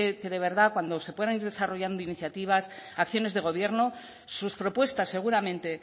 que de verdad cuando se puedan ir desarrollando iniciativas acciones de gobierno sus propuestas seguramente